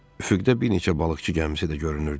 Üfüqdə bir neçə balıqçı gəmisi də görünürdü.